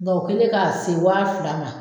o kɛlen k'a se waa fila ma